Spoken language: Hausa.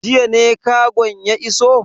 Jiya ne kagon ya iso?